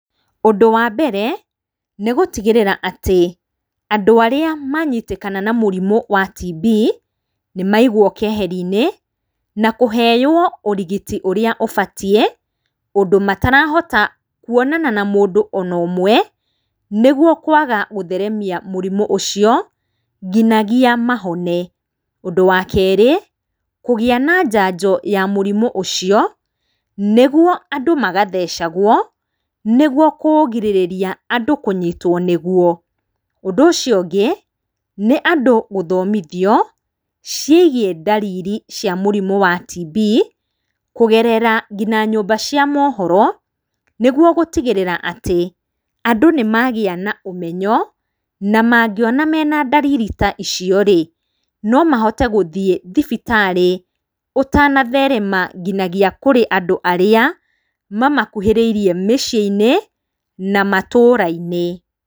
Ũndũ wa mbere nĩ gũtigĩrĩra atĩ, andũ arĩa manyitĩkana na mũrimũ wa TB, nĩ maigwo keheri-inĩ na kũheywo ũrigiti ũrĩa ũbatiĩ, ũndũ matarahota kũonana na mũndũ ona ũmwe nĩguo kwaga gũtheremia mũrimũ ũcio nginagia mahone. Ũndũ wa keerĩ, kũgĩa na njajo ya mũrimũ ũcio nĩguo andũ magathecagwo nĩguo kũugirĩrĩria andũ kũnyitwo nĩguo. Ũndũ ũcio ũngĩ nĩ andũ gũthomithio ciĩgiĩ ndariri cia mũrimũ wa TB kũgerera ngina nyũmba cia mohoro nĩguo gũtigĩrĩra atĩ andũ nĩ magĩa na ũmenyo, na mangĩona mena ndariri ta icio rĩ no mahote gũthiĩ thibitarĩ ũtanatherema ngina kũrĩ andũ arĩa mamakuhĩrĩirie mĩciĩ-inĩ na matũura-inĩ.